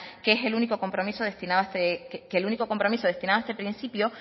que el único compromiso destinado a este principio